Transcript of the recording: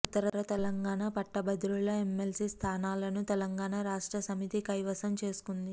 ఉత్తర తెలంగాణ పట్టభద్రుల ఎమ్మెల్సీ స్థానాలను తెలంగాణ రాష్ర్టసమితి కైవసం చేసుకుంది